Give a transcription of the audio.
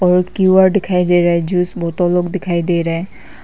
और क्यू_आर दिखाई दे रहा है जूस बोतल लोग दिखाई दे रहा है।